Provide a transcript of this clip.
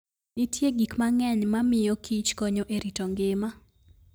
Nitie gik mang'eny mamiyokich konyo e rito ngima.